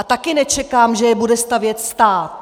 A taky nečekám, že je bude stavět stát.